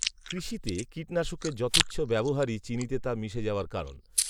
কৃষিতে কীটনাশকের যথেচ্ছ ব্যবহারই চিনিতে তা মিশে যাওয়ার কারণ